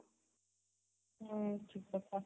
ହୁଁ ଠିକ କଥା